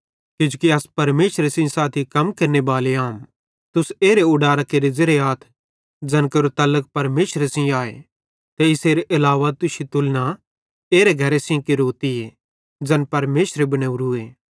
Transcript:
किजोकि अस परमेशरे सेइं साथी कम केरनेबाले आम तुस एरे उडारां केरे ज़ेरे आथ ज़ैन केरो तलक परमेशरे सेइं आए ते इसेरे आलाव तुश्शी तुलना एरे घरे सेइं केरताईं ज़ैन परमेशरे बनावरूए